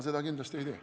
Seda ma kindlasti ei tee.